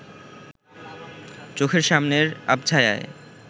চোখের সামনের আবছায়ায়